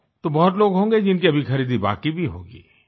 तो बहुत लोग होंगे जिनके अभी खरीदी बाकी भी होगी